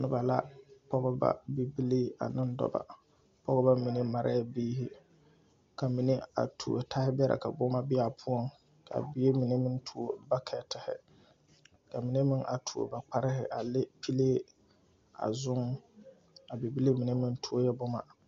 Nobɔ la pɔgeba bibilii aneŋ dɔbɔ pɔgebɔ mine marɛɛ biire ka mine a tuo a tahibɛrɛ ka boma be aa poɔŋ kaa bie mine meŋ tuo bakɛtihi ka mine meŋ a tuo ba kparehi le pilee a zuŋ a bibile mine meŋ tuo boma.